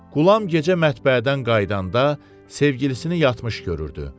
Qulam gecə mətbəədən qayıdanda sevgilisini yatmış görürdü.